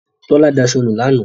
Tọ́lá daṣọ nu lánàá.